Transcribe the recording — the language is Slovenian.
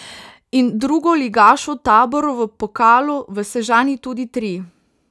In drugoligašu Taboru v pokalu v Sežani tudi tri.